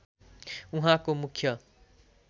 उहाँको मुख्य